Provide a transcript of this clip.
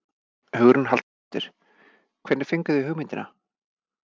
Hugrún Halldórsdóttir: Hvernig fenguð þið hugmyndina?